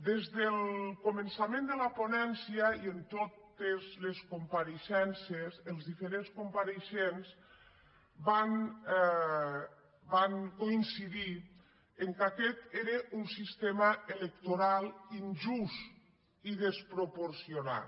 des del començament de la ponèn·cia i en totes les compareixences els diferents com·pareixents van coincidir que aquest era un sistema electoral injust i desproporcionat